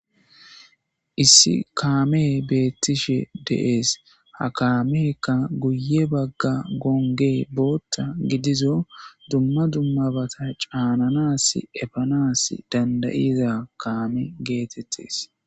issi kaamey beettishe dees. ha kaamekka guye bagga goongge bootta gidizo dumma dummabata caananas efanas dandayiza kaame geetettes.